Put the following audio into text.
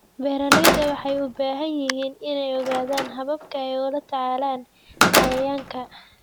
Beeralayda waxay u baahan yihiin inay ogaadaan hababka ay ula tacaalaan cayayaanka.